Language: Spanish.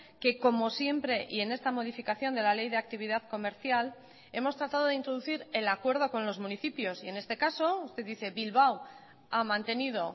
que como siempre y en esta modificación de la ley de actividad comercial hemos tratado de introducir el acuerdo con los municipios y en este caso usted dice bilbao ha mantenido